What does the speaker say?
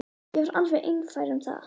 Ég var alveg einfær um það.